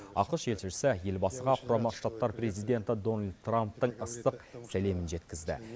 ақш елшісі елбасыға құрама штаттар президенті дональд трамптың ыстық сәлемін жеткізді